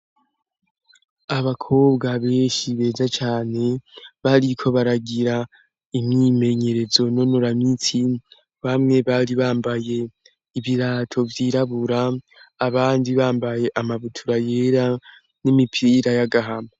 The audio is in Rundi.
Abakobwa benshi beza cane, bariko baragira imyimenyerezo nonora mitsi, bamwe bari bambaye ibirato vyirabura abandi bambaye amabutura yera n'imipira y'agahama.